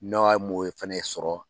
N'a wa moye fɛnɛ sɔrɔ.